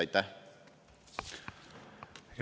Aitäh!